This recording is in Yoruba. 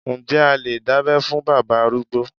Ǹjẹ́ a lè dábẹ́ fún bàbá arúgbó.